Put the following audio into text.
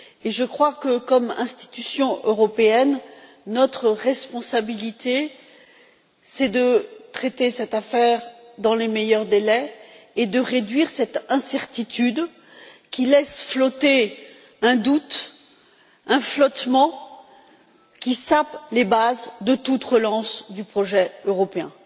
Je crois que, comme institution européenne, notre responsabilité est de traiter cette affaire dans les meilleurs délais et de réduire cette incertitude qui laisse flotter un doute, un flottement qui sape les bases de toute relance du projet européen.